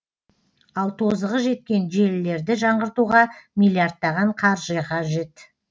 ал тозығы жеткен желілерді жаңғыртуға миллиардтаған қаржы қажет